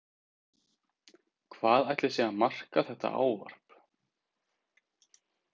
Hvað ætli sé að marka þetta ávarp?